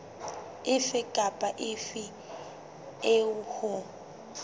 efe kapa efe eo ho